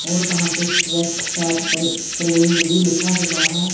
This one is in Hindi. और वहां पे भी लिखा हुआ है।